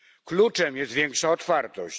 Kluczem jest większa otwartość.